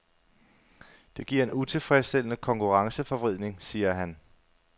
Det giver en utilfredsstillende konkurrenceforvridning, siger han.